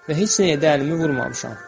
Və heç nəyə də əlimi vurmamışam.